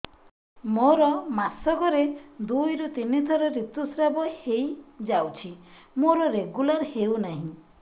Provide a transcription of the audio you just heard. ମୋର ମାସ କ ରେ ଦୁଇ ରୁ ତିନି ଥର ଋତୁଶ୍ରାବ ହେଇଯାଉଛି ମୋର ରେଗୁଲାର ହେଉନାହିଁ